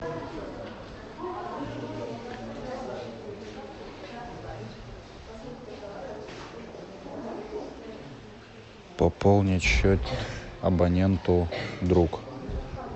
пополнить счет абоненту друг